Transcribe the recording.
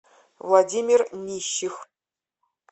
владимир нищих